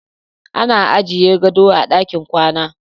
Ana ajiye gado a ɗakin kwana.